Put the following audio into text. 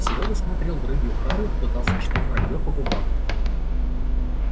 серёга смотрел в рыбью харю пытался читать вранье по губам